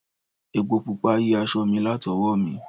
Epo Pupa yí aṣọ mi latowo mi.